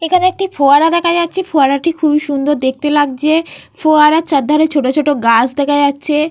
এখানে একটি ফোয়ারা দেখা যাচ্ছে। ফোয়ারাটি খুবই সুন্দর দেখতে লাগছে। ফোয়ারার চার ধরে ছোট ছোট গাছ দেখা যাচ্ছে।